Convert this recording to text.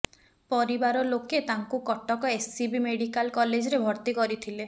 ପରିବାର ଲୋକେ ତାଙ୍କୁ କଟକ ଏସ୍ସିବି ମେଡିକାଲ କଲେଜରେ ଭର୍ତ୍ତି କରିଥିଲେ